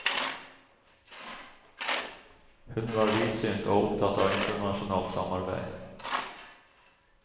Hun var vidsynt og opptatt av internasjonalt samarbeid.